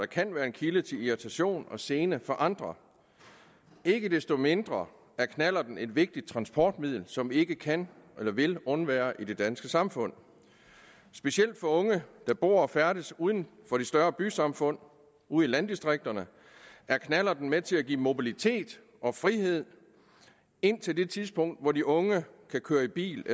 kan være en kilde til irritation og gene for andre ikke desto mindre er knallerten et vigtigt transportmiddel som vi ikke kan eller vil undvære i det danske samfund specielt for unge der bor og færdes uden for de større bysamfund ude i landdistrikterne er knallerten med til at give mobilitet og frihed indtil det tidspunkt hvor de unge kan køre i bil